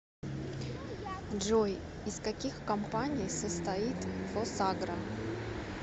джой из каких компаний состоит фосагро